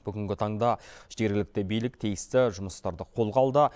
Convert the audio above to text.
бүгінгі таңда жергілікті билік тиісті жұмыстарды қолға алды